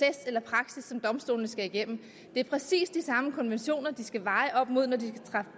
eller praksis som domstolene skal igennem det er præcis de samme konventioner de skal veje op imod når de